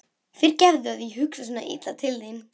Fyrirgefðu að ég hugsa svona illa til þín.